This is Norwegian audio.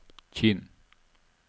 Kinn